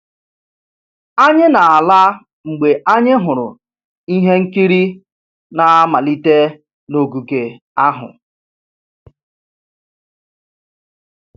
Anyị na-ala mgbe anyị hụrụ ihe nkiri na-amalite n'ogige ahụ